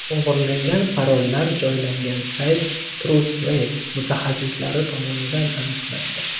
O‘g‘irlangan parollar joylangan sayt Trustwave mutaxassislari tomonidan aniqlandi.